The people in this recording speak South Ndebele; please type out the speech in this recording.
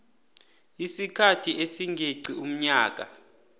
isikhathi esingeqi umnyaka